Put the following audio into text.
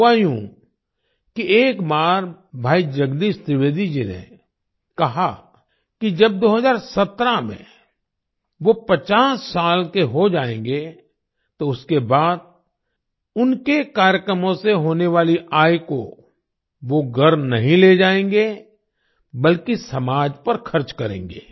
हुआ यूं कि एक बार भाई जगदीश त्रिवेदी जी ने कहा कि जब 2017 में वो 50 साल के हो जाएंगे तो उसके बाद उनके कार्यक्रमों से होने वाली आय को वो घर नहीं ले जाएंगे बल्कि समाज पर खर्च करेंगे